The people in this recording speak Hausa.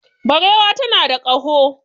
Barewa tana da kaho